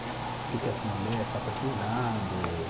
Que que as mulher está precisando.